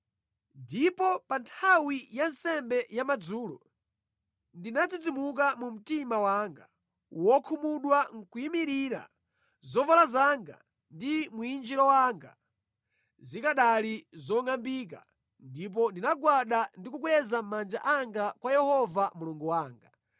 Ndipo pa nthawi ya nsembe ya madzulo, ndinadzidzimuka mu mtima wanga wokhumudwa nʼkuyimirira, zovala zanga ndi mwinjiro wanga zikanali zongʼambika ndipo ndinagwada ndi kukweza manja anga kwa Yehova Mulungu wanga